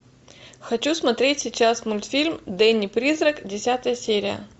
хочу смотреть сейчас мультфильм дэнни призрак десятая серия